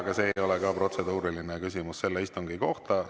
Aga see ei ole protseduuriline küsimus selle istungi kohta.